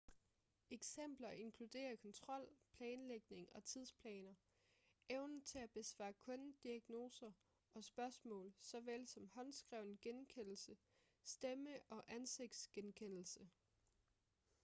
eksempler inkluderer kontrol planlægning og tidsplaner evnen til at besvare kundediagnoser og spørgsmål såvel som håndskreven genkendelse stemme- og ansigtsgenkendelse